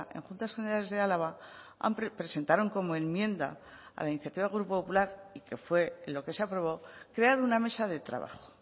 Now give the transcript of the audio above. en juntas generales de álava presentaron como enmienda a la iniciativa del grupo popular y que fue lo que se aprobó crear una mesa de trabajo